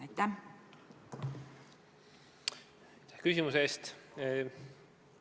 Aitäh küsimuse eest!